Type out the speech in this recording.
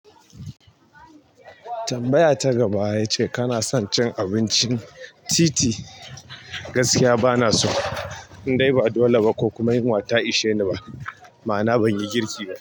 Tambaya ta gaba yace kana son cin abincin titi? Gaskiya bana so. Indai ba dole ba ko kuma yunwa ta ishe ni ba. Ma'ana ban yi girki ba.